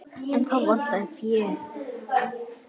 En þá vantaði fé.